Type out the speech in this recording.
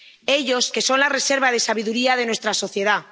Ellos que son la reserva de sabiduría de nuestra sociedad.